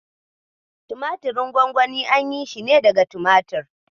Tumatirin gwangwani an yi shi ne daga tumatir.